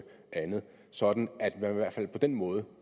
andet sådan at man i hvert fald på den måde